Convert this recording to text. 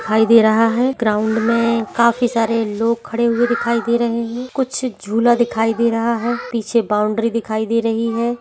दिखाई दे रहा है ग्राउंड में काफी सारे लोग खड़े हुए दिखाई दे रहें हैं कुछ झूला दिखाई दे रहा है पीछे बॉउंड्री दिखाई दे रही है।